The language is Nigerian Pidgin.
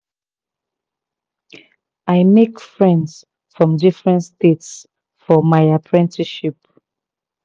i make friends from different states for my apprenticeship